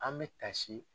An bɛ tasi